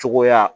Cogoya